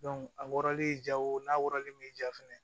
a wɔrɔlen ja wo n'a wɔrɔlen bɛ ja fɛnɛ